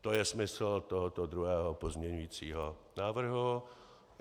To je smysl tohoto druhého pozměňovacího návrhu.